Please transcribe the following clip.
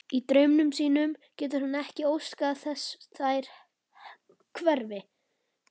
Í draumi sínum getur hann ekki óskað þess þær hverfi.